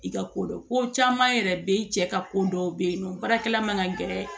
I ka kodɔn ko caman yɛrɛ be yen i cɛ ka ko dɔw bɛ yen nɔ baarakɛla man ka gɛrɛ